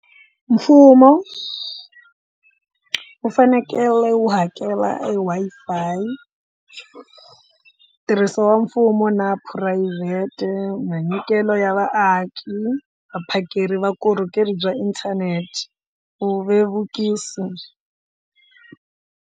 Mfumo wu fanekele wu hakela e Wi-Fi tirhiso wa mfumo na phurayivhete, minyikelo ya vaaki, vaphakeri va vukorhokeri bya inthanete ku vevukisa.